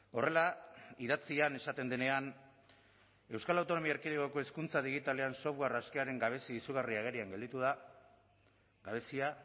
horrela idatzian esaten denean euskal autonomia erkidegoko hezkuntza digitalean software askearen gabezia izugarri agerian gelditu da gabezia